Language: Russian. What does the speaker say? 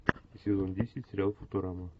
сезон десять сериал футурама